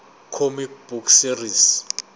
comic book series